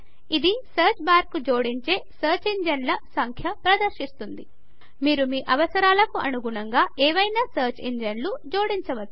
ఇది సర్చ్ బార్కు జోడించే సర్చ్ ఇంజన్ల యొక్క సంఖ్య ప్రదర్శిస్తుంది మీరు మీ అవసరాలకు అనుగుణంగా ఏవైనా సర్చ్ ఇంజన్ల జోడించవచ్చు